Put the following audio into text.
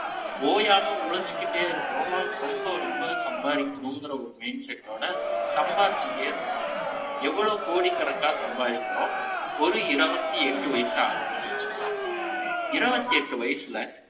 ஓயாம உழைச்சுக்கிட்டே இருக்கா ரொம்ப ரொம்ப சம்பாதிக்கும் சம்பாதிக்கிறோம் என்ற mind set டோட சம்பாரிச்சுடே எவ்ளோ கோடிக்கணக்கான சம்பாதிக்கிறோம் ஒரு இருபத்தி எட்டு வயசு ஆகுது வச்சுக்கலாம் ஒரு இருபத்தி எட்டு வயசுல